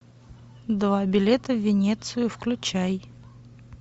два билета в венецию включай